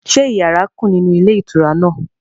Ṣé yàrá kù nínú ilé ìtura náà?